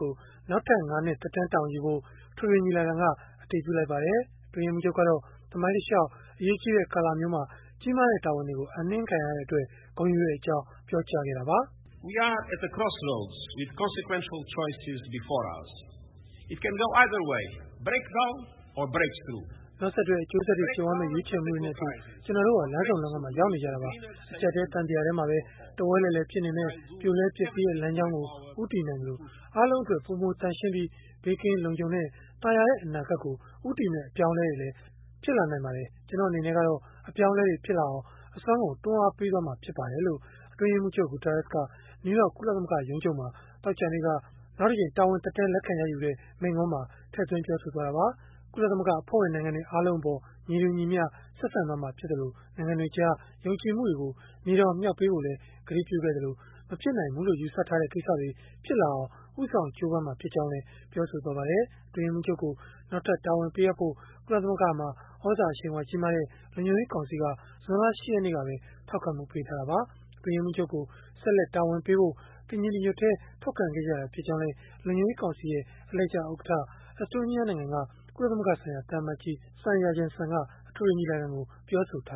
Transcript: ကို နောက်ထပ် ၅ နှစ် သက်တမ်း တာဝန်ယူဖို့ အထွေထွေညီလာခံက အတည်ပြုလိုက်ပါတယ်။ အတွင်းရေးမှူးချုပ်ကတော့ သမိုင်းတလျှောက် အရေးကြီးတဲ့ ကာလမျိုးမှာ ကြီးမားတဲ့ တာဝန်တွေကို အပ်နှင်းခံရတဲ့အတွက် ဂုဏ်ယူကြောင်း ပြောကြားခဲ့တာပါ။ “နောက်ဆက်တွဲ အကျိုးဆက်တွေ ကြုံရမယ့် ရွေးချယ်မှုတွေနဲ့အတူ ကျနော်တို့ဟာ လမ်းဆုံလမ်းခွမှာ ရောက်နေကြတာပါ။ အကျပ်အတည်း သံသရာထဲမှာပဲ တဝဲလည်လည် ဖြစ်နေမယ့် ပြိုလဲပျက်စီးတဲ့ လမ်းကြောင်းကို ဦးတည်နိုင်သလို၊ အားလုံးအတွက် ပိုမိုသန့်ရှင်းပြီး ဘေးကင်းလုံခြုံတဲ့ သာယာတဲ့ အနာဂတ်ကို ဦးတည်မယ့် အပြောင်းအလဲတွေလည်း ဖြစ်လာနိုင်ပါတယ်။ ကျနော့်အနေနဲ့ကတော့ အပြောင်းအလဲတွေ ဖြစ်လာအောင် အစွန်းကုန် တွန်းအားပေးသွားမှာ ဖြစ်ပါတယ်။” လို့ အတွင်းရေးမှူးချုပ် Guterres က နယူးယောက် ကုလသမဂ္ဂ ရုံးချုပ်မှာ သောကြာနေ့က နောက်တကြိမ် တာဝန်သက်တမ်း လက်ခံရယူတဲ့ မိန့်ခွန်းမှာ ထည့်သွင်း ပြောဆိုသွားတာပါ။ ကုလသမဂ္ဂ အဖွဲ့ဝင် နိုင်ငံတွေ အားလုံးအပေါ် ညီတူညီမျှ ဆက်ဆံသွားမှာဖြစ်သလို၊ နိုင်ငံတွေကြား ယုံကြည်မှုတွေကို မြေတောင်မြှောက်ပေးဖို့လည်း ကတိပြုခဲ့သလို၊ မဖြစ်နိုင်ဘူးလို့ ယူဆထားတဲ့ ကိစ္စတွေ ဖြစ်လာအောင် ဦးဆောင် ကြိုးပမ်းမှာ ဖြစ်ကြောင်းလည်း ပြောဆိုခဲ့ပါတယ်။ အတွင်းရေးမှူးချုပ်ကို နောက်ထပ် တာဝန်ပေးဖို့ ကုလသမဂ္ဂမှာ သြဇာအရှိန်အဝါ ကြီးမားတဲ့ လုံခြုံရေးကောင်စီက ဇွန်လ ၈ ရက်နေ့ကပဲ ထောက်ခံမှုပေးထားတာပါ။ အတွင်းရေးမှူးချုပ်ကို ဆက်လက် တာဝန်ပေးဖို့ တညီတညွတ်တည်း ထောက်ခံခဲ့ကြတာ ဖြစ်ကြောင်းလည်း လုံခြုံရေးကောင်စီ အလှည်ကျဥက္ကဋ္ဌ Estonia နိုင်ငံက ကုလသမဂ္ဂဆိုင်ရာ သံအမတ်ကြီး Sven Jurgenson က အထွေထွေညီလာခံကို ပြောဆိုထာ